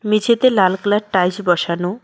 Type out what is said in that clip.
মেঝেতে লাল colour tiles বসানো।